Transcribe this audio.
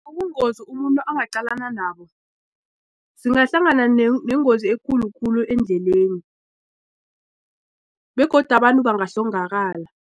Ubungozi umuntu angaqalana nabo singahlangana nengozi ekulu khulu endleleni begodu abantu bangahlongakala.